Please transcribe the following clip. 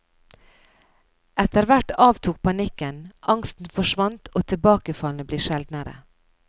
Etterhvert avtok panikken, angsten forsvant og tilbakefallene ble sjeldnere.